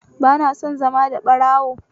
Ba na son zama da ɓarawo